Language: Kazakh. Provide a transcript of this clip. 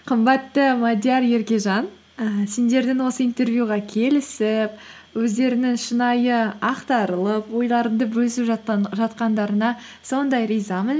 қымбатты мадиар еркежан і сендердің осы интервьюға келісіп өздерінің шынайы ақтарылып ойларыңды бөлісіп жатқандарыңа сондай ризамын